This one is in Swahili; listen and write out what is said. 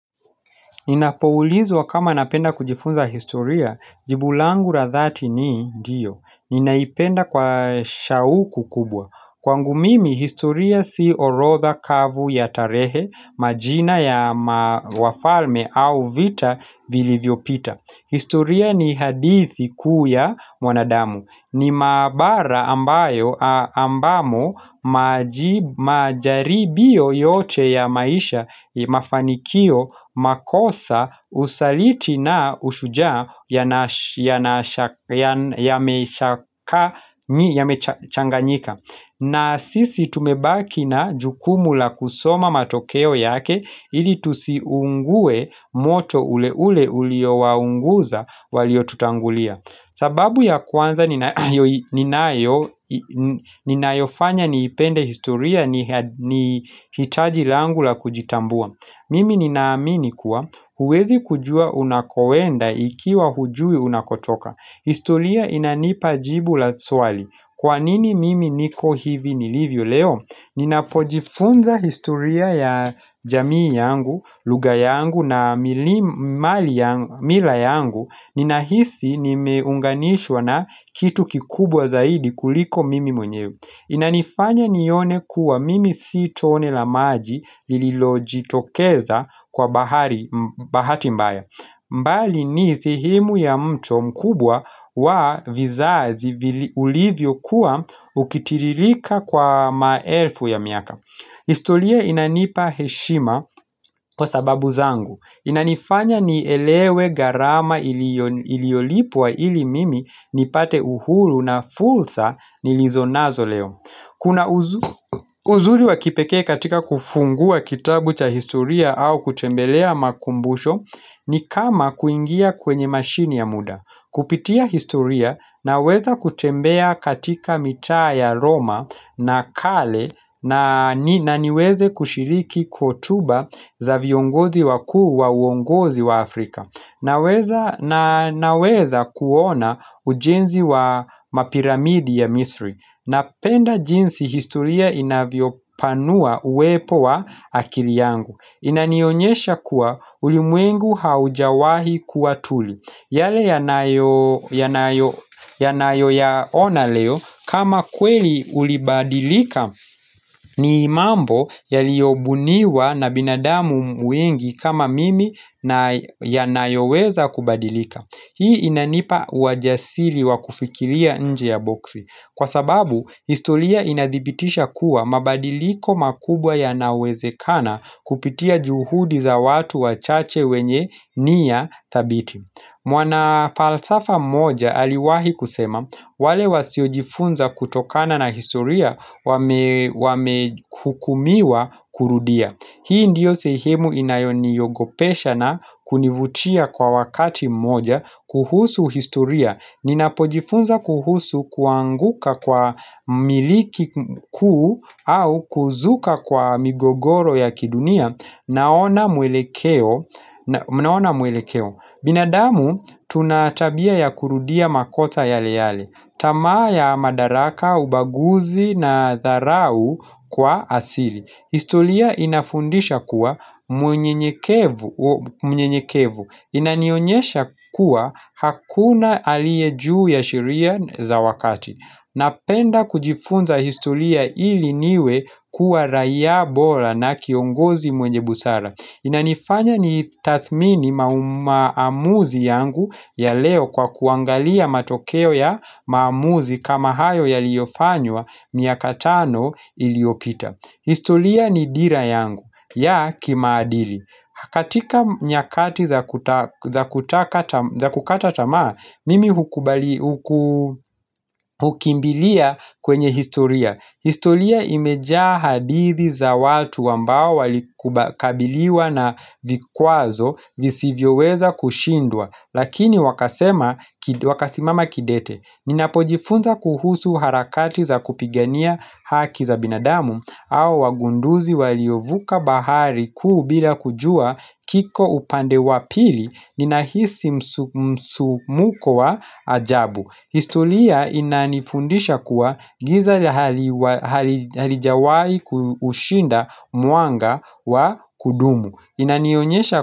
Inapoulizwa kama napenda kujifunza historia, jibu langu la dhati ni ndiyo, ninaipenda kwa shauku kubwa. Kwangu mimi, historia si orotha kavu ya tarehe, majina ya wafalme au vita vilivyo pita. Historia ni hadithi kuu ya mwanadamu. Ni mahabara ambayo ambamo majaribio yote ya maisha mafanikio makosa usaliti na ushujaa yamechanganyika. Na sisi tumebaki na jukumu la kusoma matokeo yake ili tusiungue moto ule ule ulio waunguza walio tutangulia. Sababu ya kwanza ninayofanya niipende historia ni hitaji langu la kujitambua. Mimi ninaamini kuwa huwezi kujua unakoenda ikiwa hujui unakotoka. Historia inanipajibu la swali. Kwa nini mimi niko hivi nilivyo leo? Ninapojifunza historia ya jamii yangu, lugha yangu na mila yangu. Ninahisi nimeunganishwa na kitu kikubwa zaidi kuliko mimi mwenyewe Inanifanya nione kuwa mimi si tone la maji lililo jitokeza kwa bahati mbaya. Mbali ni sehemu ya mto mkubwa wa vizazi ulivyo kuwa ukitiririka kwa maelfu ya miaka. Historia inanipa heshima kwa sababu zangu. Inanifanya nielewe garama iliolipwa ili mimi nipate uhuru na fulsa nilizonazo leo. Kuna uzuri wa kipekee katika kufungua kitabu cha historia au kutembelea makumbusho ni kama kuingia kwenye mashini ya muda. Kupitia historia naweza kutembea katika mitaa ya Roma na kale na niweze kushiriki kotuba za viongozi wakuu wa uongozi wa Afrika. Naweza kuona ujenzi wa mapiramidi ya Misri. Napenda jinsi historia inavyo panua uwepo wa akili yangu. Inanionyesha kuwa ulimwengu haujawahi kuwa tuli. Yale yanayo yaona leo kama kweli ulibadilika ni imambo yalio buniwa na binadamu wengi kama mimi yanayo weza kubadilika. Hii inanipa uwa jasiri wakufikilia nje ya boksi. Kwa sababu, histolia inadhibitisha kuwa mabadiliko makubwa yanawezekana kupitia juhudi za watu wachache wenye ni ya thabiti. Mwana falsafa moja aliwahi kusema, wale wasiojifunza kutokana na historia wame hukumiwa kurudia. Hii ndiyo sehemu inayo niogopesha na kunivutia kwa wakati mmoja, kuhusu historia. Ninapojifunza kuhusu kuanguka kwa miliki kuu au kuzuka kwa migogoro ya kidunia naona mwelekeo. Na mnaona mwele keo. Binadamu tunatabia ya kurudia makosa yale yale. Tamaa ya madaraka, ubaguzi na dharau kwa asili. Histolia inafundisha kuwa mnyenyekevu. Inanionyesha kuwa hakuna aliyejuu ya shiria za wakati. Napenda kujifunza historia ili niwe kuwa raia bola na kiongozi mwenye busara Inanifanya ni tathmini maamuzi yangu ya leo kwa kuangalia matokeo ya maamuzi kama hayo yaliofanywa miaka tano iliopita historia ni dira yangu ya kimaadili katika nyakati za kukata tamaa, mimi hukimbilia kwenye historia. Historia imejaa hadithi za watu ambao walikabiliwa na vikwazo visivyoweza kushindwa, lakini wakasimama kidete. Ninapojifunza kuhusu harakati za kupigania haki za binadamu au wagunduzi waliovuka bahari kuu bila kujua kiko upande wa pili ninahisi msumuko wa ajabu. Histolia inanifundisha kuwa giza la hali halijawai kushinda mwanga wa kudumu.